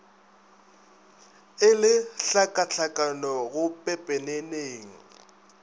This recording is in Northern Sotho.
e le tlhakatlhakano go pepeneneng